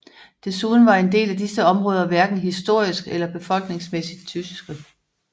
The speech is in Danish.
Desuden var en del af disse områder hverken historisk eller befolkningsmæssigt tyske